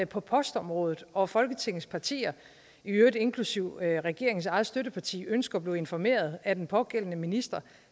på postområdet og folketingets partier i øvrigt inklusive regeringens eget støtteparti ønsker at blive informeret af den pågældende minister